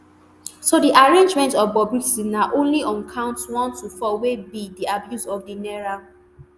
so di arraignment of bobrisky na only on counts one to four wey be di abuse of di naira